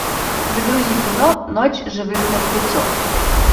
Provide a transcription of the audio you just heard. загрузи кино ночь живых мертвецов